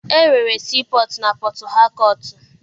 E nwere sii pọtụ na Pọtụhakọọtụ.